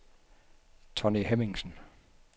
Tonni Hemmingsen